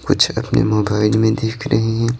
कुछ अपने मोबाइल में देख रही हैं।